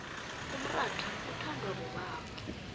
umrotha uthondwa bobaba